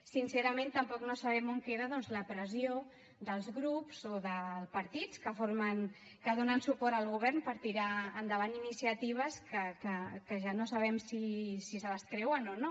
sincerament tampoc no sabem on queda doncs la pressió dels grups o de partits que donen suport al govern per tirar endavant iniciatives que ja no sabem si se les creuen o no